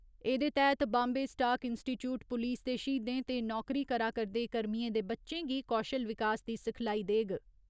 एह्दे तैह्‌त Bombay stock institute पुलस दे श्हीदें ते नौकरी करा करदे कर्मियें दे बच्चें गी कौशल विकास दी सिखलाई देग।